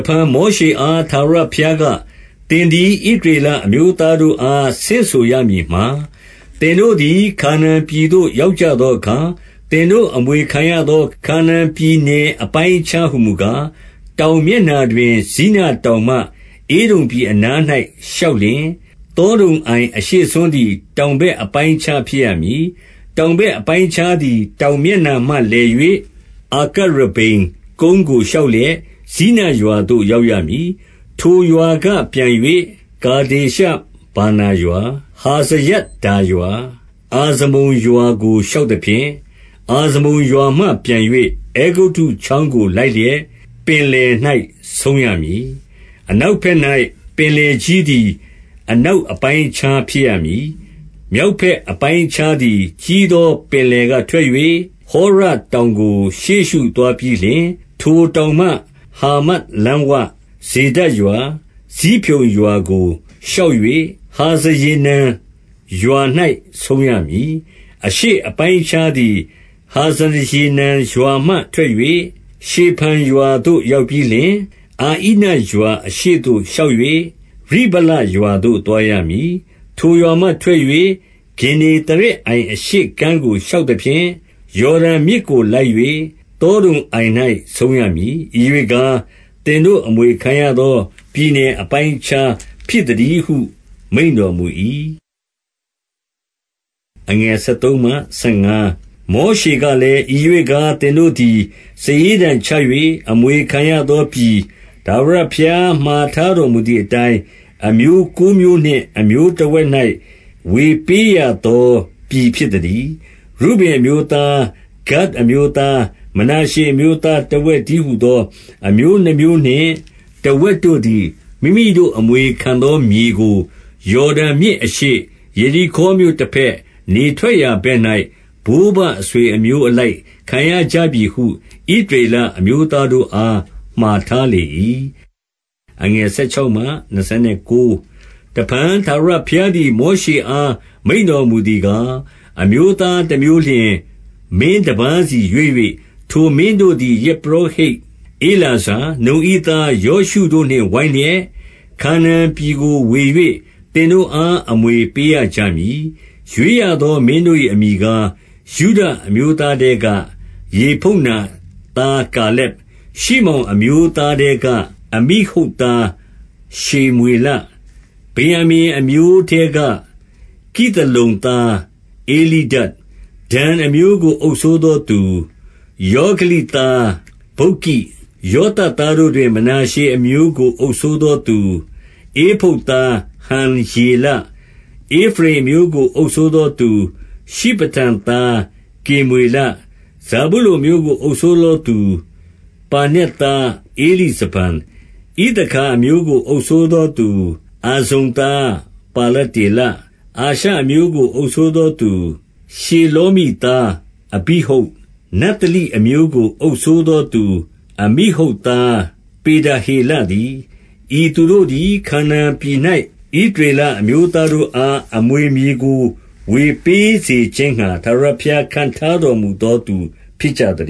ဖန် မောရှေအား ထာဝရဘုရားက၊ သင်သည်ဣသရေလအမျိုးသားတို့အား ဆင့်ဆိုရမည်မှာ၊ သင်တို့သည် ခါနာန်ပြည်သို့ ရောက်ကြသောအခါ၊ သင်တို့အမွေခံရသော ခါနာန်ပြည်နယ် အပိုင်းအခြားဟူမူကား၊ တောင်မျက်နှာတွင် ဇိနတောင်မှ ဧဒုံပြည်အနား၌လျှောက်လျှင်၊ သောဒုံအိုင်အရှေ့စွန်းသည် တောင်ဘက်အပိုင်းအခြား ဖြစ်ရမည်။ တောင်ဘက်အပိုင်းအခြားသည် တောင်မျက်နှာမှလည်၍၊ အာကရဗ္ဗိမ်ကုန်းကိုလျှောက်လျက် ဇိနရွာသို့ရောက်ရမည်။ ထိုရွာကပြန်၍ ကာဒေရှဗာနာရွာ၊ ဟာဇရဒ္ဒါရွာ၊ အာဇမုန်ရွာကိုလျှောက်သဖြင့်၊ အာဇမုန်ရွာမှပြန်၍ အဲဂုတ္တုချောင်းကိုလိုက်လျက် ပင်လယ်၌ဆုံးရမည်။ အနောက်ဘက်၌ ပင်လယ်ကြီးသည် အနောက်အပိုင်းအခြား ဖြစ်ရမည်။ မြောက်ဘက်အပိုင်းအခြားသည် ကြီးသောပင်လယ်ကထွက်၍ ဟောရတောင်ကို ရှေ့ရှုသွားပြီးလျှင်၊ ထိုတောင်မှ ဟာမတ်လမ်းဝ၊ ဇေဒဒ်ရွာ၊ ဇိဖြုန်ရွာကိုလျှောက်၍ ဟာဇရေနန်ရွာ၌ ဆုံးရမည်။ အရှေ့အပိုင်းအခြားသည် ဟာဇရေနန်ရွာမှထွက်၍ ရှေဖံရွာသို့ရောက်ပြီးလျှင်၊ အဣနရွာအရှေ့၌လျှောက်၍ ရိဗလရွာသို့ သွားရမည်။ ထိုရွာမှထွက်၍ ဂင်္နေသရက်အိုင်အရှေ့ကမ်းကို လျှောက်သဖြင့်၊ ယော်ဒန်မြစ်ကိုလိုက်၍ သောဒုံအိုင်၌ဆုံးရမည်။ ဤရွေ့ကား၊ သင်တို့ အမွေခံရသောပြည်နယ် အပိုင်းအခြားဖြစ်သတည်းဟု မိန့်တော်မူ၏။ မောရှေကလည်း၊ ဤရွေ့ကား၊ သင်တို့သည် စာရေးတံချ၍ အမွေခံရသောပြည်၊ ထာဝရဘုရားမှာထားတော်မူသည်အတိုင်း၊ အမျိုးကိုးမျိုးနှင့် အမျိုးတစ်ဝက်၌ ဝေပေးရသောပြည် ဖြစ်သတည်း။ ရုဗင်အမျိုးသား၊ ဂဒ်အမျိုးသား၊ မနာရှေအမျိုးသား တစ်ဝက်တည်းဟူသော အမျိုးနှစ်မျိုးနှင့် တစ်ဝက်တို့သည် မိမိတို့အမွေခံသောမြေကို ယော်ဒန်မြစ်အရှေ့၊ ယေရိခေါမြို့တစ်ဖက်၊ နေထွက်ရာဘက်၌ ဘိုးဘအဆွေအမျိုးအလိုက် ခံရကြပြီဟု ဣသရေလအမျိုးသားတို့အား မှာထားလေ၏။ အမျိုးသားခေါင်းဆောင်များ တစ်ဖန် ထာဝရဘုရားသည် မောရှေအားမိန့်တော်မူသည်ကား၊ အမျိုးသားတစ်မျိုးလျှင် မင်းတစ်ပါးစီရွေး၍၊ ထိုမင်းတို့သည် ယဇ်ပုရောဟိတ်ဧလာဇာ၊ နုန်၏သားယောရှုတို့နှင့် ဝိုင်းလျက်၊ ခါနာန်ပြည်ကိုဝေ၍ သင်တို့အား အမွေပေးရကြမည်။ ရွေးရသောမင်းတို့၏အမည်ကား၊ ယုဒအမျိုးသားထဲက ယေဖုန္နာသား ကာလက်။ ရှိမောင်အမျိုးသားထဲက အမိဟုဒ်သား ရှေမွေလ။ ဗင်္ယာမိန်အမျိုးထဲက ခိသလုန်သား ဧလိဒဒ်။ ဒန်အမျိုးကို အုပ်စိုးသောသူ၊ ယောဂလိသား ဗုက္ကိ။ ယောသပ်သားတို့တွင် မနာရှေအမျိုးကိုအုပ်စိုးသောသူ၊ ဧဖုဒ်သား ဟံယေလ။ ဧဖရိမ်အမျိုးကို အုပ်စိုးသောသူ၊ ရှိဖတန်သား ကေမွေလ။ ဇာဗုလုန်အမျိုးကိုအုပ်စိုးသောသူ၊ ပါနက်သား ဧလိဇဖန်။ ဣသခါအမျိုးကိုအုပ်စိုးသောသူ၊ အဇ္ဇန်သား ပါလတေလ။ အာရှာအမျိုးကိုအုပ်စိုးသောသူ၊ ရှေလောမိသား အဘိဟုဒ်။ နဿလိအမျိုးကိုအုပ်စိုးသောသူ၊ အမိဟုဒ်သား ပေဒဟေလတည်း။ ဤသူတို့သည် ခါနာန်ပြည်၌ ဣသရေလအမျိုးသားတို့အား အမွေမြေကို ဝေပေးစေခြင်းငှာ ထာဝရဘုရားခန့်ထားတော်မူသောသူ ဖြစ်ကြသ